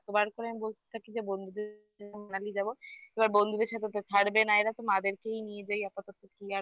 এতবার করে আমি বলতে থাকি যে বন্ধুদের লাগিয়ে যাব এবার বন্ধুদের সাথে তো ছাড়বে না এরা তো মা দেরকেই নিয়ে যায় আপাতত কি আর হবে